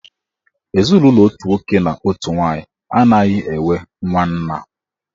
Ezinụlọ otu nwoke na otu nwaanyị anaghị enwe nwanna.